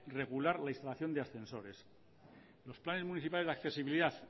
regular la instalación de ascensores los planes municipales de accesibilidad